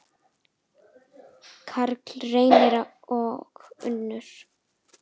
Karl Reynir og Unnur.